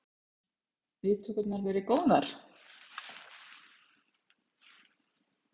Lillý Valgerður: Viðtökurnar verið góðar?